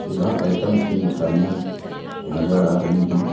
सुधा items की मिठाइयां नजर आ रही हैं।